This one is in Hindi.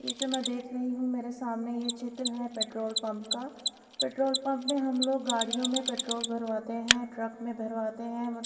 ये जो मैं देख रही हूँ मेरे सामने चित्र है पेट्रोल पंप का पेट्रोल पंप में हम लोग गाड़ियों में पेट्रोल भरवाते हैं ट्रक में भरवाते हैं।